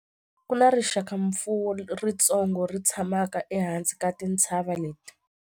Ku na rixakamfuwo ritsongo ri tshamaka ehansi ka tintshava leti.